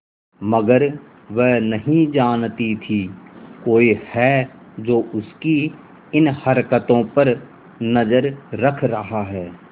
मगर वह नहीं जानती थी कोई है जो उसकी इन हरकतों पर नजर रख रहा है